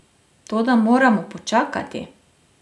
Toda moramo počakati.